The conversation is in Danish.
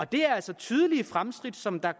det er altså tydelige fremskridt som